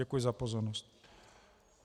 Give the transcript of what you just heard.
Děkuji za pozornost.